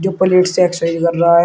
Plate से exercise कर रहा है।